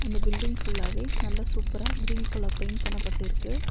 அந்த பில்டிங் ஃபுல்லாவே நல்லா சூப்பரா கிரீன் கலர் பெயிண்ட் பண்ணப்பட்டுருக்கு.